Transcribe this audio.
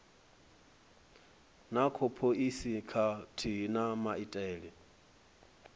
na phoisi khathihi na maitele